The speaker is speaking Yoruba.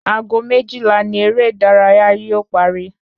Ago méjìlá ni eré ìdárayá yóò parí